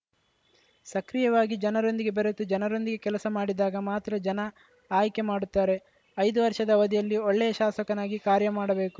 ಸಕ್ರಿಯವಾಗಿ ಜನರೊಂದಿಗೆ ಬೆರೆತು ಜನರೊಂದಿಗೆ ಕೆಲಸ ಮಾಡಿದಾಗ ಮಾತ್ರ ಜನ ಆಯ್ಕೆ ಮಾಡುತ್ತಾರೆ ಐದು ವರ್ಷದ ಅವಧಿಯಲ್ಲಿ ಒಳ್ಳೆಯ ಶಾಸಕನಾಗಿ ಕಾರ್ಯ ಮಾಡಬೇಕು